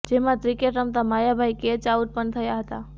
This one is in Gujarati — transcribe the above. જેમાં ક્રિકેટ રમતા માયાભાઇ કેચ આઉટ પણ થયા હતા